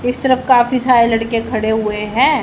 इस तरफ काफी सारे लड़के खड़े हुए हैं।